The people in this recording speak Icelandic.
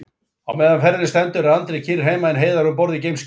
Á meðan ferðinni stendur er Andri kyrr heima en Heiðar um borð í geimskipinu.